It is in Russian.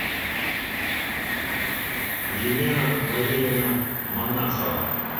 елена валерьевна монахова